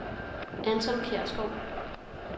Anton Kjærsgaard